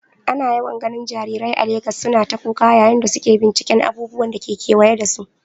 Ana yawan ganin jarirai a Legas suna ta kuka yayin da suke binciken abubuwan da ke kewaye da su.